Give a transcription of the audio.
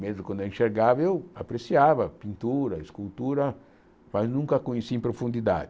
Mesmo quando eu enxergava, eu apreciava pintura, escultura, mas nunca conheci em profundidade.